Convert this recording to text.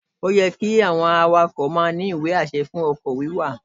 Ó yẹ́ kí àwọn awakọ̀ ní ìwé-àṣẹ fún ọkọ̀ wíwà